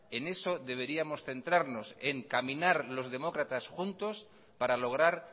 en eso deberíamos centrarnos en caminar los demócratas juntos para lograr